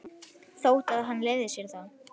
Þótt hann hefði leyft sér það.